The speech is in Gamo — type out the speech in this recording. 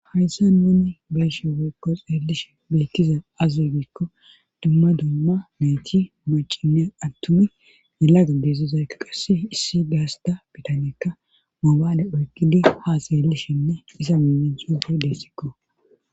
hayssa nuni bayshe weykko seellishe beykkiza azegikko dumma dumma meti maciniya attuni melag deessizaykka qasse issi gaasta bitaneekka mobaale oykqidi ha seelishinne isa meme cufi deessikko